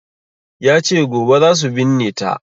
Yace gobe zasu binne ta